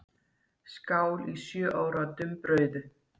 Skál í sjö ára dumbrauðu.